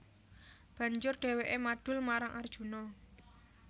Banjur dhèwèké madul marang Arjuna